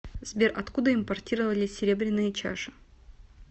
сбер откуда импортировались серебряные чаши